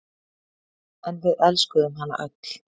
En við elskuðum hana öll.